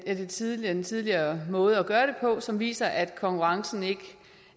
den tidligere den tidligere måde at gøre det på som viser at konkurrencen ikke